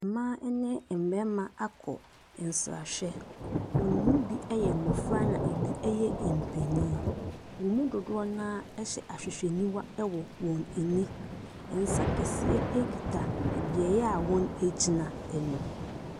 Mmaa ne mmarima akɔ nsrahwɛ. Wɔn mu bi yɛ mmɔfra na ebi yɛ mpenyin. Wɔn mu dodoɔ no ara hyɛ ahwehwɛniwa wɔ wɔn ani. Nsa kɛseɛ kita beaeɛ a wɔgyina no.